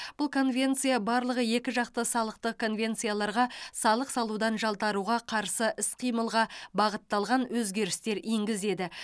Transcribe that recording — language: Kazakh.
бұл конвенция барлығы екіжақты салықтық конвенцияларға салық салудан жалтаруға қарсы іс қимылға бағытталған өзгерістер енгізеді